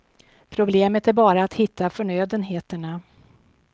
Problemet är bara att hitta förnödenheterna.